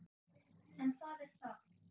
En það er þarft.